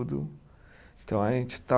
Então, a gente está